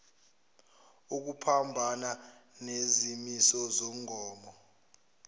ukuphambana nezimiso zomgomo